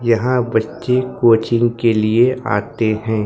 यहां बच्चे कोचिंग के लिए आते हैं।